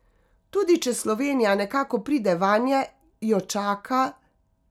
Tudi če Slovenija nekako pride vanje, jo čaka ...